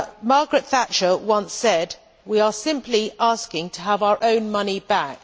Margaret Thatcher once said we are simply asking to have our own money back.